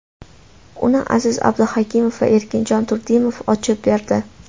Uni Aziz Abduhakimov va Erkinjon Turdimov ochib berdi .